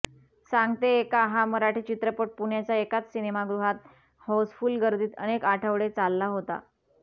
सांगते ऐका हा मराठी चित्रपट पुण्याच्या एकाच सिनेमागृहात हाऊसफुल्ल गर्दीत अनेक आठवडे चालला होता